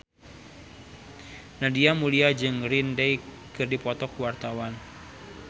Nadia Mulya jeung Green Day keur dipoto ku wartawan